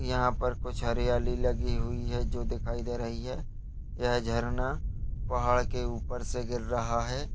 यहां पर कुछ पेड़ दिखायी दे रहे हैं एक नदी दिखायी दे रही हैजहां पर कुछ हरियाली लगी हुई है जो दिखाई दे रही है।